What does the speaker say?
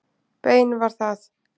Bein var það.